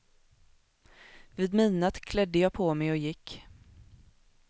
Vid midnatt klädde jag på mig och gick.